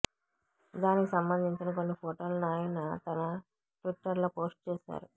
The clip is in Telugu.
దానికి సంబంధించిన కొన్ని ఫొటోలను ఆయన తన ట్విట్టర్లో పోస్ట్ చేశారు